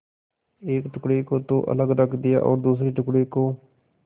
एक टुकड़े को तो अलग रख दिया और दूसरे टुकड़े को